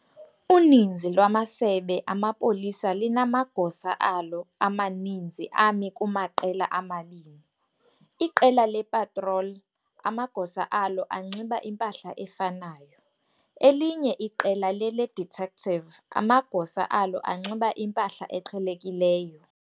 Uninzi lwamasebe amapolisa linamagosa alo amaninzi ami kumaqela amabini- iqela le-"patrol" amagosa alo anxiba impahla efanayo, elinye iqela lele-"detective" amagosa alo anxiba impahla eqhelekileyo.